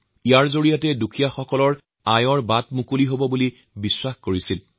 তেওঁৰ চিন্তাত উদ্যোগ ইমানেই এক শক্তিশালী মাধ্যম যাৰ প্ৰভাৱত দেশৰ দৰিদ্ৰতম লোকসকলৰ আয়ৰ ব্যৱস্থা সম্ভৱ হব